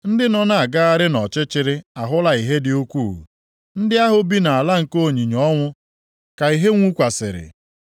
Ndị nọ na-agagharị nʼọchịchịrị ahụla ìhè dị ukwuu; ndị ahụ bi nʼala nke onyinyo ọnwụ ka ìhè nwukwasịrị.